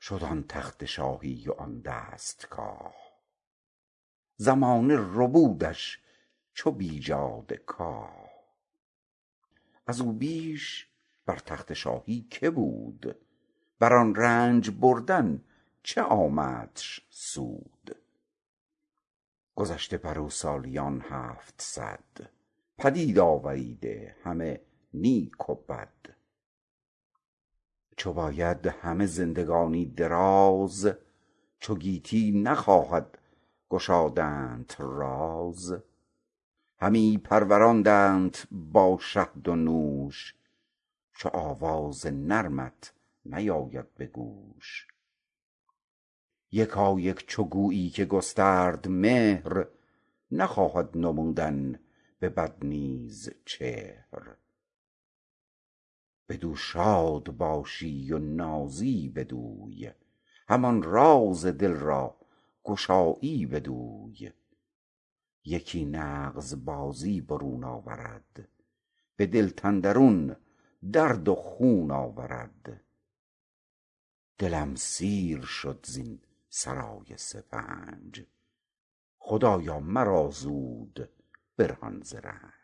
شد آن تخت شاهی و آن دستگاه زمانه ربودش چو بیجاده کاه از او بیش بر تخت شاهی که بود بر آن رنج بردن چه آمدش سود گذشته بر او سالیان هفتصد پدید آوریده همه نیک و بد چه باید همه زندگانی دراز چو گیتی نخواهد گشادنت راز همی پروراندت با شهد و نوش جز آواز نرمت نیاید به گوش یکایک چو گویی که گسترد مهر نخواهد نمودن به بد نیز چهر بدو شاد باشی و نازی بدوی همان راز دل را گشایی بدوی یکی نغز بازی برون آورد به دلت اندرون درد و خون آورد دلم سیر شد زین سرای سپنج خدایا مرا زود برهان ز رنج